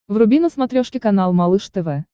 вруби на смотрешке канал малыш тв